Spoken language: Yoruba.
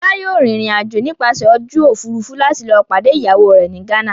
Fọlá yóò rìnrìn-àjò nípasẹ̀ ojú òfurufú láti lọ pàdé ìyàwó rẹ̀ ní Ghana.